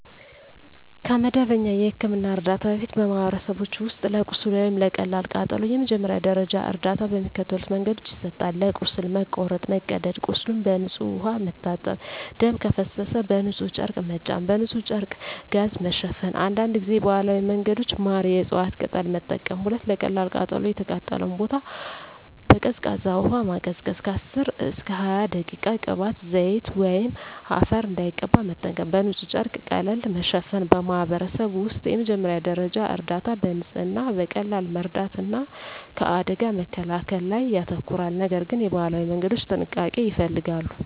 ከመደበኛ የሕክምና እርዳታ በፊት፣ በማኅበረሰቦች ውስጥ ለቁስል ወይም ለቀላል ቃጠሎ የመጀመሪያ ደረጃ እርዳታ በሚከተሉት መንገዶች ይሰጣል፦ ለቁስል (መቁረጥ፣ መቀደድ) ቁስሉን በንጹሕ ውሃ መታጠብ ደም ከፈሰሰ በንጹሕ ጨርቅ መጫን በንጹሕ ጨርቅ/ጋዝ መሸፈን አንዳንድ ጊዜ ባህላዊ መንገዶች (ማር፣ የእፅዋት ቅጠል) መጠቀም 2. ለቀላል ቃጠሎ የተቃጠለውን ቦታ በቀዝቃዛ ውሃ ማቀዝቀዝ (10–20 ደቂቃ) ቅባት፣ ዘይት ወይም አፈር እንዳይቀባ መጠንቀቅ በንጹሕ ጨርቅ ቀለል ማሸፈን በማኅበረሰብ ውስጥ የመጀመሪያ ደረጃ እርዳታ በንጽህና፣ በቀላል መርዳት እና ከአደጋ መከላከል ላይ ያተኮራል፤ ነገር ግን የባህላዊ መንገዶች ጥንቃቄ ይፈልጋሉ።